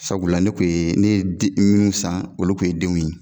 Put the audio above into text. Sabula ne kun ye ne ye minnu san olu kun ye denw ye.